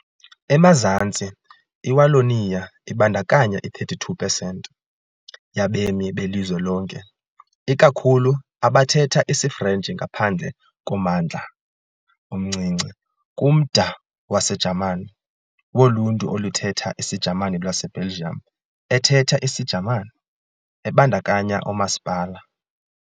Emazantsi, iWallonia ibandakanya i-32 pesenti yabemi belizwe lonke, ikakhulu abathetha isiFrentshi ngaphandle kommandla omncinci, kumda waseJamani, woLuntu oluthetha isiJamani lwaseBelgium ethetha isiJamani, ebandakanya oomasipala